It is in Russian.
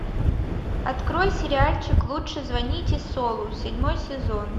открой сериальчик лучше звоните солу седьмой сезон